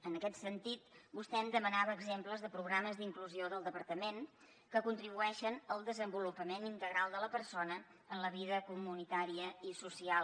en aquest sentit vostè em demanava exemples de programes d’inclusió del departament que contribueixen al desenvolupament integral de la persona en la vida comunitària i social